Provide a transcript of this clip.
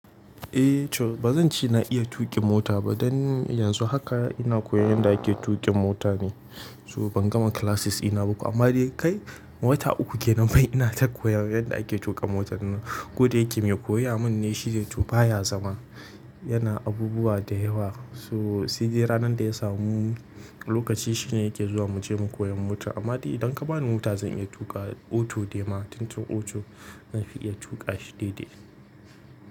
Eh, to bazan ce na iya tuƙin mota ba don yanzu haka ina koyan yanda ake tuƙin mota ne. So bangama classes ina ba to amma dai kai wata uku kenan wai ina ta koyan yadda ake tuƙa motan nan. Ko da yake mai koya mun ne shi dai to baya zama, yana abubuwa da yawa. To sai dai ranan da ya samu lokaci shi ne yake zuwa muje mu koyan mota. Amma dai idan ka bani mota zan iya tuƙawa auto dema. Tun tun auto zan fi iya tuƙa shi de de.